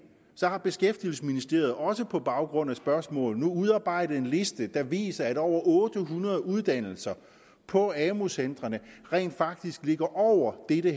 har beskæftigelsesministeriet også på baggrund af spørgsmål nu udarbejdet en liste der viser at over otte hundrede uddannelser på amu centrene rent faktisk ligger over dette